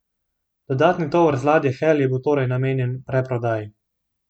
Dodatni tovor z ladje Hel je bil torej namenjen preprodaji.